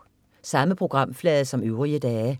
Samme programflade som øvrige dage